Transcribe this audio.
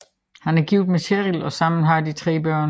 Han er gift med Cheryl og sammen har de tre børn